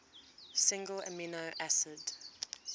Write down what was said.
single amino acid